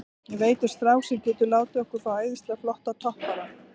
Ég veit um strák sem getur látið okkur fá æðislega flottan toppara.